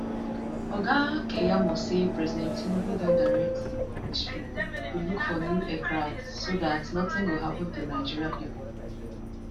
oga keyamo say president tinubu don direct di ministry to look for new aircrafts so dat nothing go happun to nigeria pipo